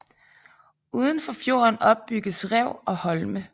Uden for fjorden opbygges rev og holme